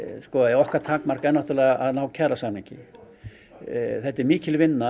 okkar takmark er að ná kjarasamningi þetta er mikil vinna